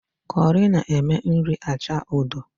Kọrị na-eme nri acha odo